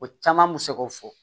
O caman mi se k'o fɔ